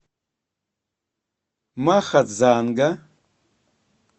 махадзанга